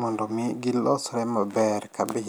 mondo mi gilosre maber kabisa.